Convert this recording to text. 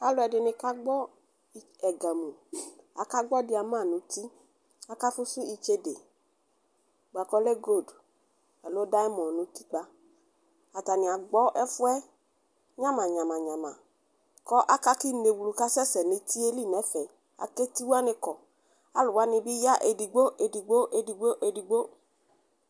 Alʋɛdini kagbɔ ɛgami Aaka gbɔ ma nʋ uti, akafʋsʋ itsede boakʋ ɔlɛ golʋd aloo dayamɔdu nʋ utikpa Atani agbɔ ɛfʋɛ nyamanyamanyama, kʋ aka kʋ inewlʋ kasɛsɛ nʋ eti yɛ li nɛfɛ Aaka eti wani kɔ Alʋwani bi ya edigbo edigbo edigbo edigbo